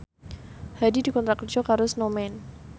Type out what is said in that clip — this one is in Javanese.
Hadi dikontrak kerja karo Snowman